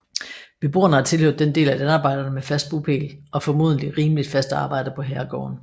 Beboerne har tilhørt den del af landarbejderne med fast bopæl og formodentlig rimeligt fast arbejde på herregården